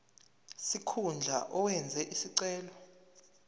sikhundla owenze isicelo